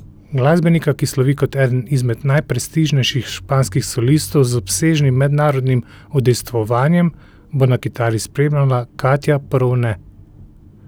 Glasbenika, ki slovi kot eden izmed najprestižnejših španskih solistov z obsežnim mednarodnim udejstvovanjem, bo na kitari spremljala Katja Porovne.